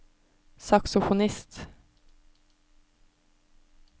saksofonist